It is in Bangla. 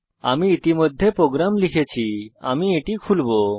আমি ইতিমধ্যে প্রোগ্রাম লিখেছি আমি এটি খুলবো